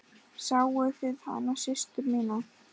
Sáuð þið hana systur mína.